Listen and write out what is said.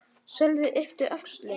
Sölvi yppti öxlum.